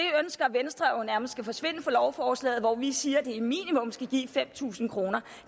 venstre jo nærmest skal forsvinde fra lovforslaget hvor vi siger at det minimum skal give fem tusind kroner